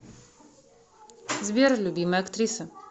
сбер любимая актриса